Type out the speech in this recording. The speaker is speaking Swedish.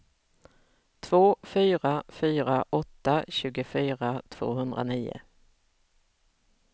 två fyra fyra åtta tjugofyra tvåhundranio